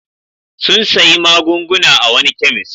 Sun sayi magunguna a wani kemis.